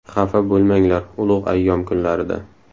Xafa bo‘lmanglar ulug‘ ayyom kunlarida.